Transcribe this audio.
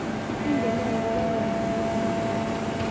Ingen nee agoboo kanamwetap uhuru